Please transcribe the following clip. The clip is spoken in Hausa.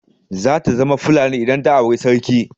Zata zama Fulani idan ta auri sarki.